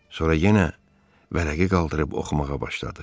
Sonra yenə vərəqi qaldırıb oxumağa başladı.